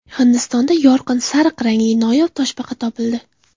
Hindistonda yorqin sariq rangli noyob toshbaqa topildi.